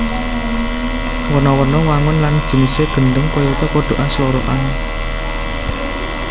Werna werna wangun lan jinisé gendhèng kayata kodhokan slorokan